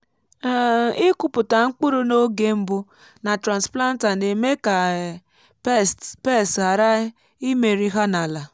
um ịkụpụta mkpụrụ n’oge mbụ na transplanter na-eme ka um pests pests ghara imeri ha n’ala.